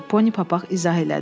Poni Papaq izah elədi.